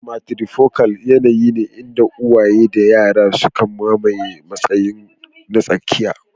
Matrifocal yanayi ne inda uwaye da yara suka mamaye matsayi na tsakiya.